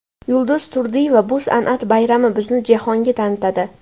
Yulduz Turdiyeva: Bu san’at bayrami bizni jahonga tanitadi.